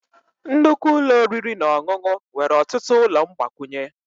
Nnukwu ụlọ oriri na ọṅụṅụ nwere ọtụtụ ụlọ mgbakwunye.